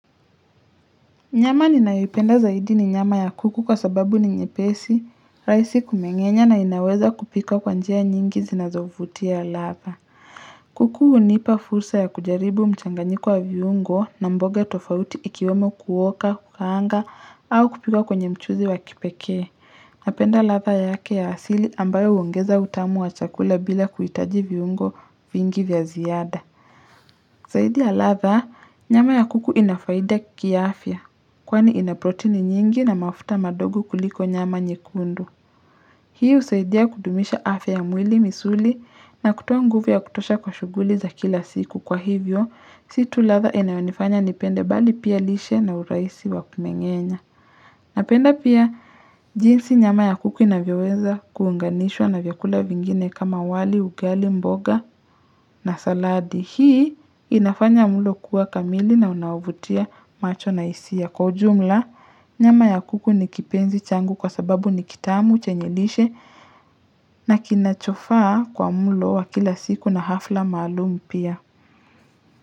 Nyama ninayoipenda zaidi ni nyama ya kuku kwa sababu ni nyepesi, rahisi kumengenya na inaweza kupika kwa njia nyingi zinazovutia latha. Kuku hunipa fursa ya kujaribu mchanganyiko wa viungo na mboga tofauti ikiwemo kuoka, kukaanga au kupika kwenye mchuzi wa kipekee. Napenda latha yake ya asili ambayo huongeza utamu wa chakula bila kuhitaji viungo vingi vya ziada. Zaidi ya latha, nyama ya kuku inafaida kia afya, kwani inaprotini nyingi na mafuta madogo kuliko nyama nyekundu. Hii husaidia kudumisha afya ya mwili misuli na kutoa nguvu ya kutosha kwa shughuli za kila siku. Kwa hivyo, si tu latha inayonifanya nipende bali pia lishe na urahisi wa kumengenya. Napenda pia jinsi nyama ya kuku inavyoweza kuunganishwa na vyakula vingine kama wali, ugali, mboga na saladi. Hii inafanya mulo kuwa kamili na unaovutia macho na hisia. Kwa ujumla, nyama ya kuku nikipenzi changu kwa sababu nikitamu chenye lishe na kinachofaa kwa mulo wa kila siku na hafla maalumu pia.